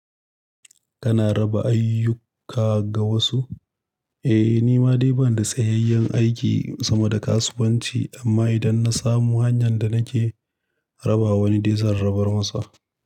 Kana raba ayyuka ga wasu? Eh, nima dai ban da tsayayyen aiki sama da kasuwanci, amma idan na samu hanyar da nake raba wani dizan rabar masa.